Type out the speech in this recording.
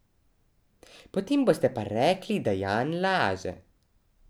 Potem boste pa rekli, da Jan laže.